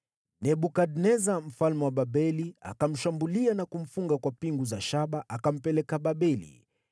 Nebukadneza mfalme wa Babeli akamshambulia na kumfunga kwa pingu za shaba akampeleka Babeli.